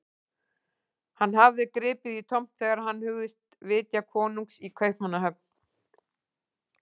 Hann hafði gripið í tómt þegar hann hugðist vitja konungs í Kaupmannahöfn.